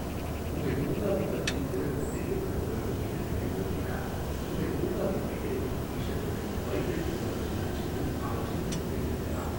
உங்கள் பூங்காவைப் பற்றி பிறருக்குத் தெரியப்படுத்த வேண்டும் என்று நீங்கள் விரும்பினால் உங்கள் பூங்காவின் பெயரை டி ஷர்ட்டுகள், பைகள் போன்றவற்றில் அச்சிட்டு அவற்றையும் நீங்கள் விற்கலாம்.